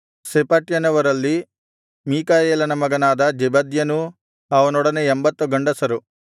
ಶೆಫಟ್ಯನವರಲ್ಲಿ ಮಿಕಾಯೇಲನ ಮಗನಾದ ಜೆಬದ್ಯನೂ ಅವನೊಡನೆ 80 ಗಂಡಸರು